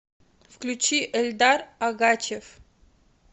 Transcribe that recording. включи эльдар агачев